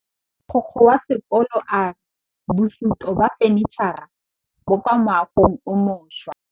Mogokgo wa sekolo a re bosutô ba fanitšhara bo kwa moagong o mošwa.